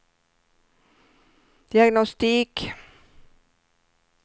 diagnostik